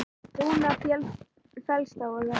Rúnar fellst á þetta.